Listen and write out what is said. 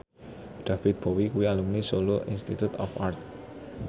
David Bowie kuwi alumni Solo Institute of Art